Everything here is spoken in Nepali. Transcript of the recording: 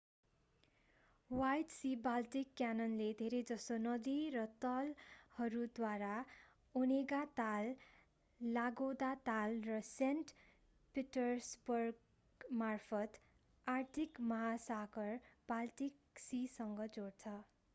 ह्वाइट सी-बाल्टिक क्यानलले धेरैजसो नदी र तालहरूद्वारा ओनेगा ताल लादोगा ताल र सेन्ट पिटर्सबर्गमार्फत आर्कटिक महासागरलाई बाल्टिक सीसँग जोड्छ